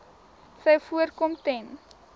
sou voorkom ten